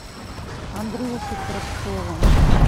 андрюшей коротковым